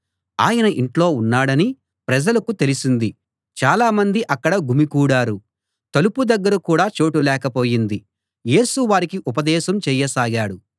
ఆయన ఇంట్లో ఉన్నాడని ప్రజలకు తెలిసింది చాలా మంది అక్కడ గుమికూడారు తలుపు దగ్గర కూడా చోటు లేకపోయింది యేసు వారికి ఉపదేశం చేయసాగాడు